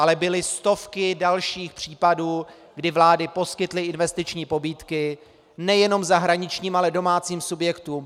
Ale byly stovky dalších případů, kdy vlády poskytly investiční pobídky nejenom zahraničním, ale i domácím subjektům.